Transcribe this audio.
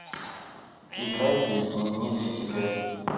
играй песня не для тебя